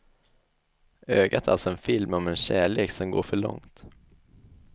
Ögat är alltså en film om en kärlek som går för långt.